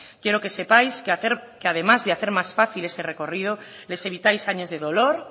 quiero que sepáis que además de hacer más fácil ese recorrido les evitáis años de dolor